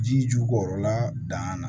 Ji jukɔrɔla dangan na